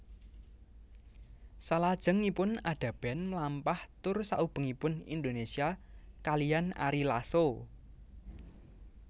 Salajengipun Ada Band melampah tur saubengipun Indonesia kaliyan Ari Lasso